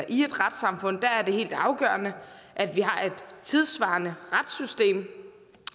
et retssamfund er helt afgørende at vi har et tidssvarende retssystem